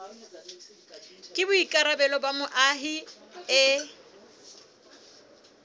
ke boikarabelo ba moahi e